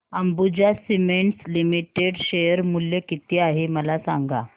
Ambuja cements limited share मूल्य किती आहे मला सांगा